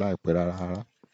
láìpẹ́ rárá.